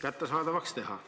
kättesaadavaks teha.